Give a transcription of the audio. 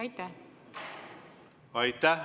Aitäh!